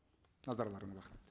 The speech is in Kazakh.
назарларыңа рахмет